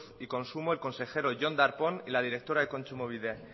y consumo el consejero jon darpón y la directora de kontsumobide